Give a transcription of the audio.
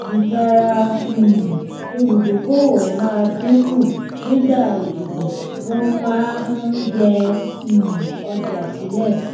ìtara um olùdókòwò máa dín kù nígbà ìdìbò wọn máa ń yè um ọjà sílẹ